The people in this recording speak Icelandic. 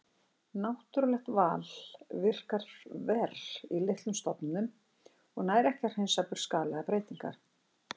Náttúrulegt val virkar verr í litlum stofnum og nær ekki að hreinsa burt skaðlegar breytingar.